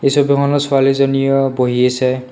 এই ছবিখনত ছোৱালীজনিও বহি আছে।